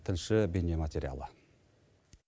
тілші бейне материалы